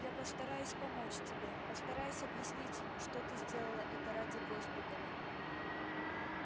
я постараюсь помочь тебе постараюсь объяснить ему что ты сделала это ради госпиталя